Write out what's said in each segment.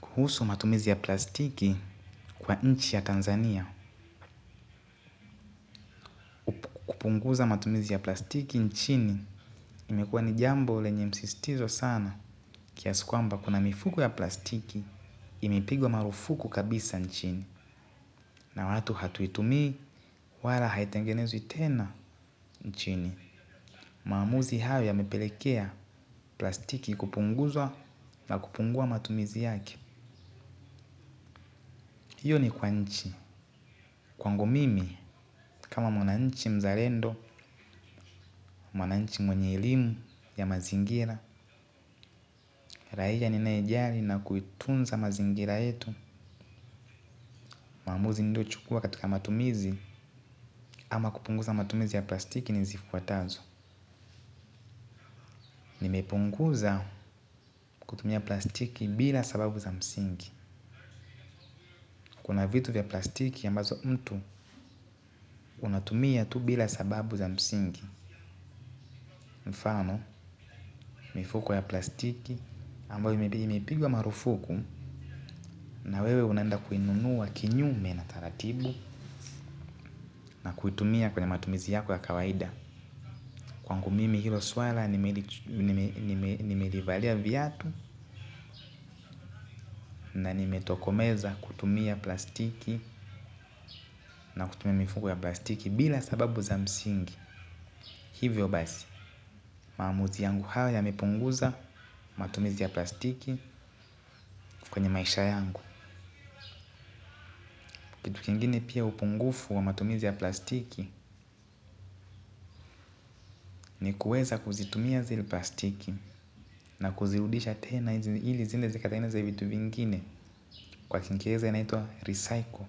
Kuhusu matumizi ya plastiki kwa nchi ya Tanzania, Kupunguza matumizi ya plastiki nchini, limekuwa ni jambo lenye msisitizo sana. Kiasi kwamba kuna mifuko ya plastiki, imepigwa marufuku kabisa nchini. Na watu hatuitumii wala haitengenezwi tena nchini. Maamuzi hayo yamepelekea plastiki kupunguzwa na kupungua matumizi yake. Hiyo ni kwa nchi. Kwangu mimi, kama mwananchi mzalendo, mwananchi mwenye elimu ya mazingira, raia ninayejali na kuitunza mazingira yetu. Maamuzi niliyochukua katika matumizi ama kupunguza matumizi ya plastiki ni zifuatazo. Nimepunguza kutumia plastiki bila sababu za msingi. Kuna vitu vya plastiki ambazo mtu, unatumia tu bila sababu za msingi. Mfano, mifuko ya plastiki ambayo imepigwa marufuku na wewe unaenda kuinunua kinyume na taratibu na kuitumia kwenye matumizi yako ya kawaida kwangu mimi hilo swala nimelivalia viatu na nimetokomeza kutumia plastiki na kutumia mifuko ya plastiki bila sababu za msingi. Hivyo basi, maamuzi yangu hayo yamepunguza matumizi ya plastiki kwenye maisha yangu. Kitu kingine pia upungufu wa matumizi ya plastiki ni kuweza kuzitumia zile plastiki na kuzirudisha tena ili ziende zikatengeneze vitu vingine kwa kiingereza inaitwa recycle.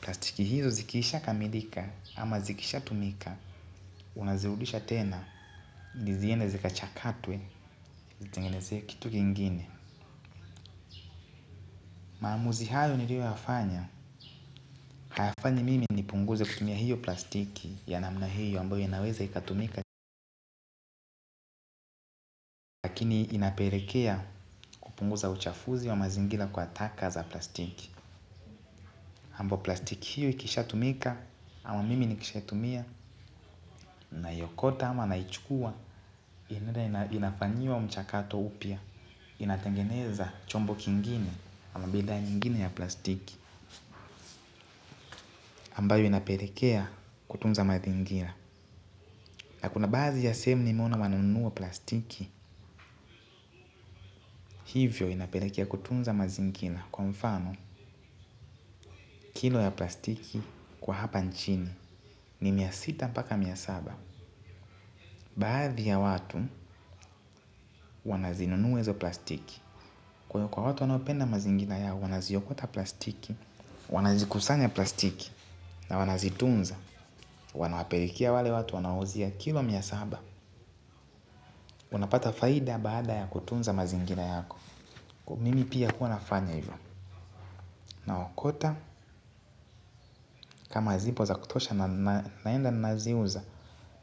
Plastiki hizo zikishakamilika ama zikishatumika. Unazirudisha tena ili ziende zikachakatwe zitengenezee kitu kingine. Maamuzi hayo nilioyafanya. Hayafanyi mimi nipunguze kutumia hiyo plastiki ya namna hiyo ambayo inaweza ikatumika. Ni inapelekea kupunguza uchafuzi wa mazingira kwa taka za plastiki ambao plastiki hiyo ikishatumika ama mimi nikishaitumia. Naiokota ama naichukua inafanyiwa mchakato upya. Inatengeneza chombo kingine ama bidhaa nyingine ya plastiki ambayo inapelekea kutunza mazingira. Na kuna baadhi ya sehemu nimeona wanunua plastiki. Hivyo inapelekea kutunza mazingira kwa mfano. Kilo ya plastiki kwa hapa nchini. Ni mia sita mpaka mia saba. Baadhi ya watu wanazinunua hizo plastiki. Kwa watu wanaopenda mazingira yao wanaziokota plastiki. Wanazikusanya plastiki. Na wanazitunza. Wanawapelekea wale watu wanawauzia kilo mia saba. Unapata faida baada ya kutunza mazingira yako. Kwa hio mimi pia kuwa nafanya hivyo. Naokota. Kama zipo za kutosha naenda naziuza.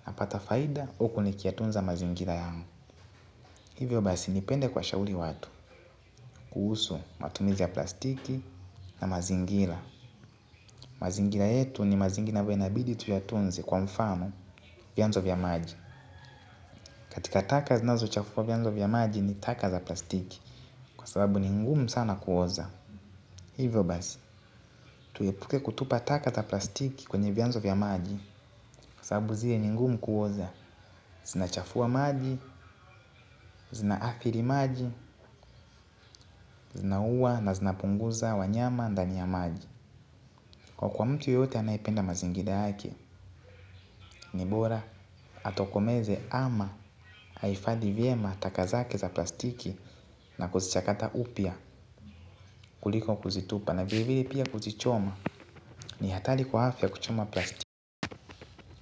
Napata faida huku nikiyatunza mazingira yangu. Hivyo basi nipende kuwashauri watu kuhusu matumizi ya plastiki na mazingira. Mazingira yetu ni mazingira inabidi tuyatunze kwa mfano vianzo vya maji. Katika taka zinazochafua vianzo vya maji ni taka za plastiki. Kwa sababu ni ngumu sana kuoza. Hivyo basi, tuepuke kutupa taka za plastiki kwenye vianzo vya maji. Kwa sababu zile ni ngumu kuoza. Zinachafua maji, zinaathiri maji zinauwa na zinapunguza wanyama ndani ya maji. Kwa kuwa mtu yote anayependa mazingira yake ni bora atokomeze ama ahifadhi vyema taka zake za plastiki na kuzichakata upya kuliko kuzitupa. Na vile vile pia kuzichoma ni hatari kwa afya kuchoma plastiki.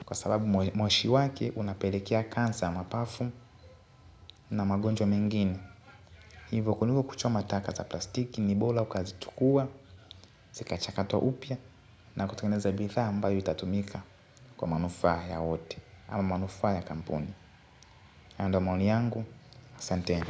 Kwa sababu moshi wake unapelekea kansa ya mapafu na magonjwa mengine. Hivo kuliko kuchoma taka za plastiki ni bora ukazichukua zikachakata upya. Na kutengeneza bidhaa ambayo itatumika kwa manufaa ya wote ama manufaa ya kampuni hayo ndiyo maoni yangu, asanteni.